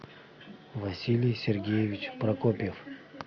василий сергеевич прокопьев